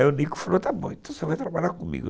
está bom, então você vai trabalhar comigo.